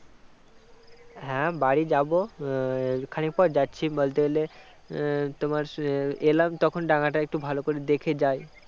হ্যাঁ বাড়ি যাব খানিক পর যাচ্ছি বলতে গেলে তোমার এলাম তখন ডাঙা একটু ভালো করে দেখে যাই